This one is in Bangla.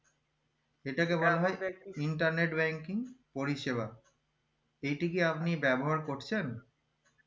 এটা কে বলা হয় internet banking পরিষেবা এটি কি আপনি ব্যবহার করছেন